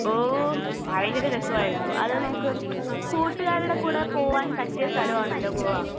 ഓഹ്. ഭയങ്കര രസായിരുന്നു. അത് നമുക്ക് കൂട്ടുകാരുടെ കൂടെ പോവാൻ പറ്റിയ സ്ഥലം ആണല്ലോ ഗോവ.